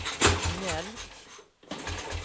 mjölk